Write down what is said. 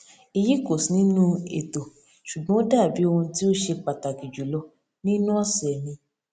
èyí kò sí nínú ètò ṣùgbọn ó dàbí ohun tí ó ṣe pàtàkì jùlọ nínú ọsẹ mi